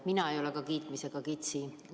Mina ei ole ka kiitmisega kitsi.